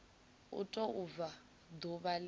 u tou bva ḓuvha ḽe